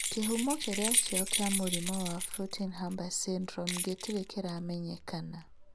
Kĩhumo kĩrĩa kio kĩa mũrimũ wa Floating Harbor syndrome gĩtirĩ kĩramenyekana